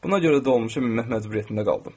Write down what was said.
Buna görə dolmuşa minmək məcburiyyətində qaldım.